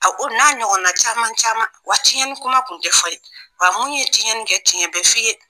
A o n'a ɲɔgɔn na caman caman wa tiɲɛni kuma tun tɛ fɔ yen wa mun ye tiɲɛni kɛ tiɲɛ bɛ f'i ye